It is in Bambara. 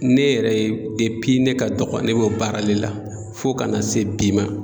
Ne yɛrɛ ye ne ka dɔgɔ ne b'o baara le la fo kana se bi ma.